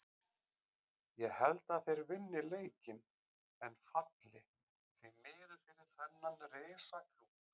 Ég held að þeir vinni leikinn en falli, því miður fyrir þennan risa klúbb.